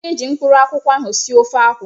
M ga eji mkpuru akwụ ahụ sie ofe akwụ